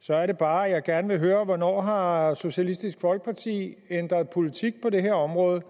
så er det bare jeg gerne vil høre hvornår har socialistisk folkeparti ændret politik på det her område